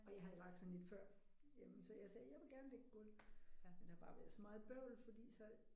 Og jeg havde lagt sådan et før. Jamen så jeg sagde jeg vil gerne lægge gulv. Men der har bare været så meget bøvl fordi så